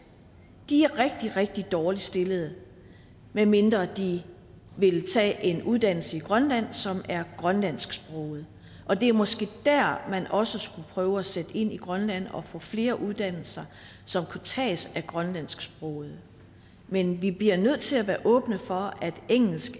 de er rigtig rigtig dårligt stillede medmindre de vil tage en uddannelse i grønland som er grønlandsksproget og det er måske der man også skulle prøve at sætte ind i grønland og få flere uddannelser som kan tages af grønlandsksprogede men vi bliver nødt til at være åbne for at engelsk